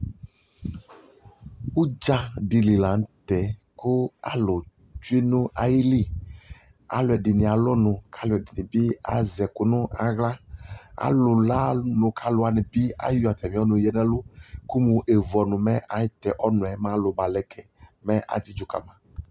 Ʋdzadɩ li la nʋ tɛ kʋ alʋ tsue nʋ ayili Alʋɛdɩnɩ alʋ ɔnʋ alʋɛdɩnɩ bɩ azɛkʋ nʋ aɣla Alʋ lʋ ɔnʋ k'alʋwanɩ bɩ ayɔ atamɩ ɔnʋ yǝ n'ɛlʋ, kʋmʋ evu ɔnʋ mɛ atɛ ɔnʋɛ mɛ alʋ balɛ kɛ